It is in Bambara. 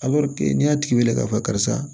n'i y'a tigi wele k'a fɔ karisa